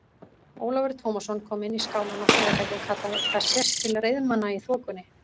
Ólafur Tómasson kom inn í skálann á Sauðafelli og kallaði:-Það sést til reiðmanna í þokunni!